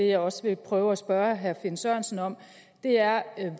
jeg også vil prøve at spørge herre finn sørensen om er